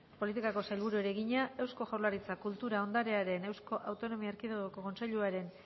politikako sailburuari egina eusko jaurlaritzak kultura ondarearen eusko autonomia erkidegoko kontseiluaren